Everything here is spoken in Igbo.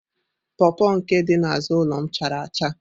pọọpọ nke dị n'azụ ụlọ m chara acha.